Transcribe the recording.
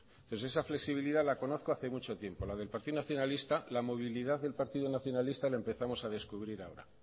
pues esa flexibilidad la conozco hace mucho tiempo la del partido nacionalista la movilidad del partido nacionalista la empezamos a descubrir ahora